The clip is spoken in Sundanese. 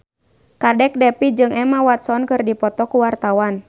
Kadek Devi jeung Emma Watson keur dipoto ku wartawan